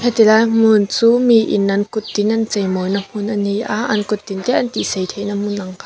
heti lai hmuh chu miin an kuttin an cheimawi na hmun ani a an kuttin te antih sei theihna hmun ang kha.